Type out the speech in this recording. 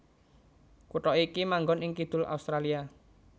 Kutha iki manggon ing kidul Australia